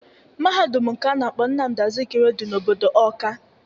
Mahadum nke a na-akpọ Nnamdị Azụkiwe dị n'obodo Ọọka.